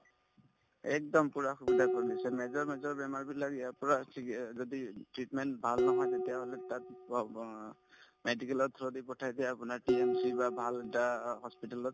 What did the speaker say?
একদম পূৰা সুবিধা কৰি দিছে major major বেমাৰবিলাক ইয়াৰ পৰা চিকি অ যদি treatment ভাল নহয় তেতিয়াহলে তাত medical ত পঠাই দিয়ে আপোনাৰ TMC বা ভাল এটা hospital ত